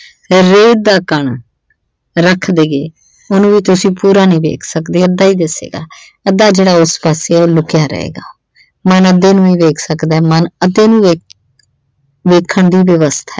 ਜਾਂ ਰੇਤ ਦਾ ਕਣ ਰੱਖ ਦੇਈਏ ਉਸਨੂੰ ਵੀ ਤੁਸੀਂ ਪੂਰਾ ਨਹੀਂ ਵੇਖ ਸਕਦੇ ਅੱਧਾ ਹੀ ਦਿਸੇਗਾ। ਅੱਧਾ ਜਿਹੜਾ ਉਸ ਪਾਸੇ ਆ ਉਹ ਲੁਕਿਆ ਰਹੇਗਾ ਮਨ ਅੱਧੇ ਨੂੰ ਹੀ ਵੇਖ ਸਕਦਾ ਮਨ ਅੱਧੇ ਨੂੰ ਵੇਖ ਅਹ ਵੇਖਣ ਦੀ ਵਿਵਸਥਾ ।